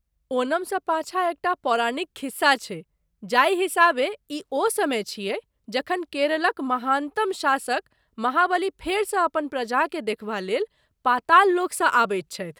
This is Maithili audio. ओणमस पाछाँ एकटा पौराणिक खिस्सा छै जाहि हिसाबे ई ओ समय छियै जखन केरलक महानतम शासक, महाबली, फेरसँ अपन प्रजाकेँ देखबा लेल पाताल लोकसँ आबैत छथि।